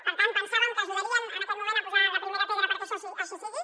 per tant pensàvem que ajudarien en aquest moment a posar la primera pedra perquè això així sigui